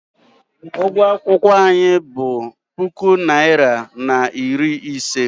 Ụgwọ akwụkwọ anyị bụ puku naịra na iri ise.